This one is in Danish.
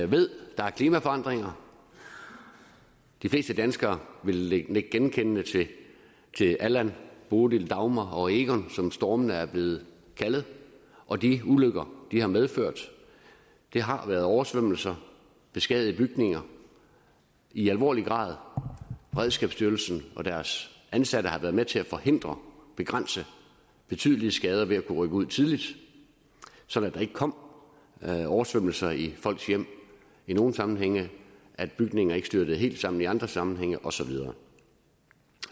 ved at der er klimaforandringer de fleste danskere vil nikke genkendende til allan bodil dagmar og egon som stormene er blevet kaldt og de ulykker de har medført det har været oversvømmelser beskadigede bygninger i alvorlig grad beredskabsstyrelsen og deres ansatte har været med til at forhindre begrænse betydelige skader ved at kunne rykke ud tidligt sådan at der ikke kom oversvømmelser i folks hjem i nogle sammenhænge at bygninger ikke styrtede helt sammen i andre sammenhænge og så videre